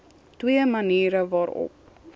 twee maniere waarop